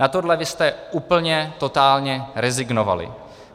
Na tohle vy jste úplně totálně rezignovali.